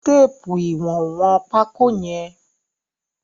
Fi téèpù ìwọ̀n wọn pákó yẹn.